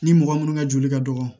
Ni mɔgɔ minnu ka joli ka dɔgɔ